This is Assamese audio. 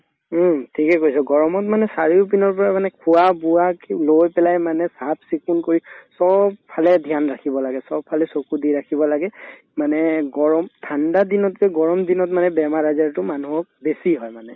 উম, ঠিকে কৈছা গৰমত মানে চাৰিওপিনৰ পৰা মানে খোৱা-বোৱাকে লৈ পেলাই মানে চাফ-চিকুণ কৰি চব ফালে dhyan ৰাখিব লাগে চব ফালে চকু দি ৰাখিব লাগে মানে গৰম ঠাণ্ডা দিনতকে গৰমদিনত মানে বেমাৰ-আজাৰতো মানুহক বেছি হয় মানে